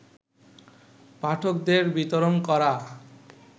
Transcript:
পাঠকদের বিতরণ করা